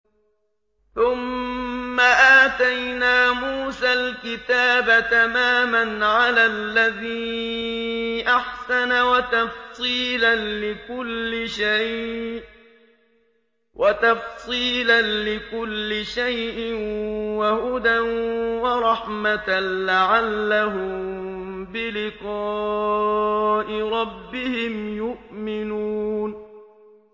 ثُمَّ آتَيْنَا مُوسَى الْكِتَابَ تَمَامًا عَلَى الَّذِي أَحْسَنَ وَتَفْصِيلًا لِّكُلِّ شَيْءٍ وَهُدًى وَرَحْمَةً لَّعَلَّهُم بِلِقَاءِ رَبِّهِمْ يُؤْمِنُونَ